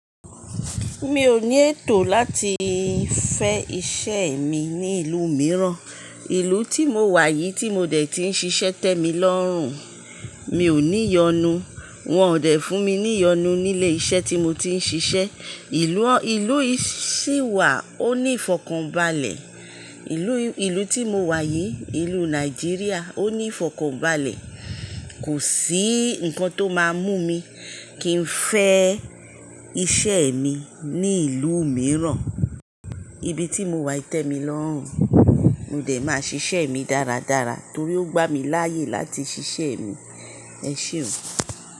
Mi ò ní ètò láti fẹ́ iṣẹ́ mi ní ìlú mìíràn, ìlú tí mo wà yìí tí mo dẹ̀ ti ń ṣiṣẹ́ tẹ́mi lọ́hùn, mi ò ní yọnu. Wọn ò dẹ̀ fún mi ní yọnu nílé iṣẹ́ tí mo ti ń ṣiṣẹ́. Ìlú, ìlú yìí sì wà ó ní ìfọ̀kànbalẹ̀. Ìlú, ìlú tí mo wà yìí, ìlú Nàìjíríà ó ní ìfọ̀kànbalẹ̀. Kò sí nǹkan tó máa mú mi kí n fẹ́ iṣẹ́ mi ní ìlú mìíràn. Ibi tí mo wà yìí tẹ́mi lọ́hùn, mo dẹ̀ máa ṣiṣẹ́ mi dáradára torí ó gbá mi láyè láti ṣiṣẹ́ mi. Ẹ ṣeun.